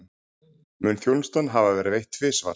Mun þjónustan hafa verið veitt tvisvar